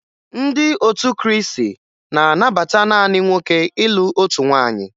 Ndị otu Krịịsị na-anabata naanị nwoke ịlụ otu nwaanyị